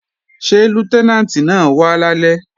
Ṣé Lútẹ́nàǹtì náà wá lálẹ́?